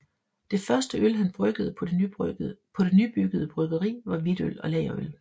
Det første øl han bryggede på det nybyggede bryggeri var hvidtøl og lagerøl